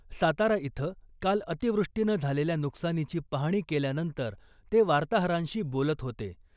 सातारा इथं काल अतिवृष्टीनं झालेल्या नुकसानीची पाहणी केल्यानंतर ते वार्ताहरांशी बोलत होते .